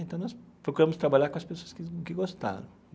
Então, nós procuramos trabalhar com as pessoas que que gostaram.